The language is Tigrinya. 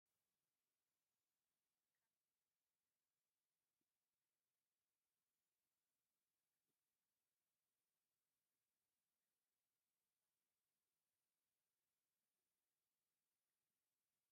ካብ ናይ መሰረታዊ ኣገልግሎት ዝባሃሉ ሓደ ናይ ኤሌክትሪክ ፖሎ ኣብቲ ኮብልስቶን ዘለዎ መሬት ወዲቑ ይረአ ኣሎ፡፡ ፖሎ ወዲቑ እንትንሪኢ ንመን ኢና ሪፖርት ንገብር?